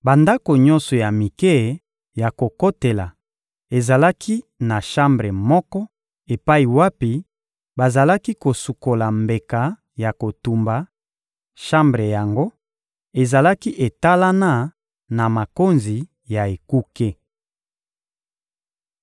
Bandako nyonso ya mike ya kokotela ezalaki na shambre moko epai wapi bazalaki kosukola mbeka ya kotumba; shambre yango ezalaki etalana na makonzi ya ekuke.